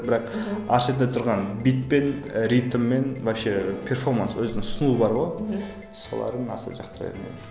бірақ әр шетінде тұрған бит пен ритммен вообще перформанс өзінің ұсынуы бар ғой соларын аса жақтыра бермеймін